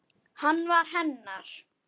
Hann var hennar.